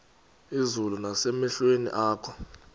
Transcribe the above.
izulu nasemehlweni akho